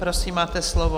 Prosím, máte slovo.